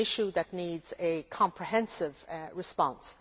It is an issue that needs a comprehensive response.